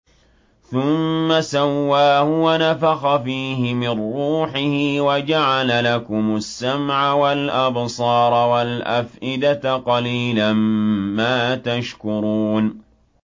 ثُمَّ سَوَّاهُ وَنَفَخَ فِيهِ مِن رُّوحِهِ ۖ وَجَعَلَ لَكُمُ السَّمْعَ وَالْأَبْصَارَ وَالْأَفْئِدَةَ ۚ قَلِيلًا مَّا تَشْكُرُونَ